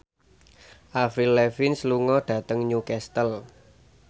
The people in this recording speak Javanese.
Avril Lavigne lunga dhateng Newcastle